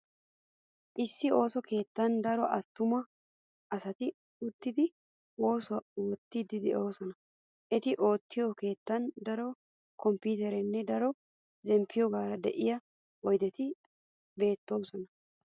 Issi ooso keettan daro attuma asati uttidi oosuwaa oottiidi de"oosona. Eti oottiyo keettan daro komppiiterettinne daro zemppiyogaara de'iya oydeti beettoosona.